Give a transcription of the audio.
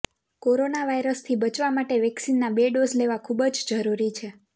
corona વાયરસથી બચવા માટે વેક્સીનના બે ડોઝ લેવા ખૂબ જ જરુરી છે